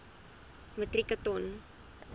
metrieke ton